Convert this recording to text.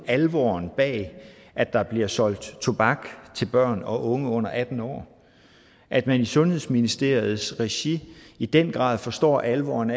alvoren bag at der bliver solgt tobak til børn og unge under atten år at man i sundhedsministeriets regi i den grad forstår alvoren